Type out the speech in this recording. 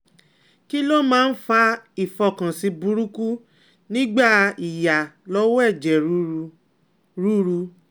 Kí ló máa ń fa ifokansi buruku nigba iya lowo eje ruru? ruru?